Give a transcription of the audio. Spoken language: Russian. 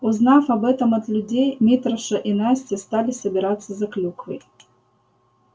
узнав об этом от людей митраша и настя стали собираться за клюквой